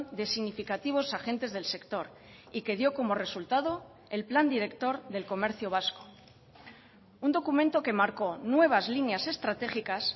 de significativos agentes del sector y que dio como resultado el plan director del comercio vasco un documento que marcó nuevas líneas estratégicas